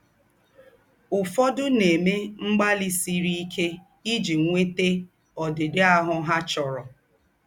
Ū́fọ́dụ̀ nà-èmè mgbàlì sírì íké íjì nwétà ǒdị́dị̀ áhụ́ há chọ̀rọ̀.